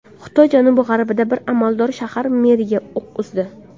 Xitoy janubi-g‘arbida bir amaldor shahar meriga o‘q uzdi.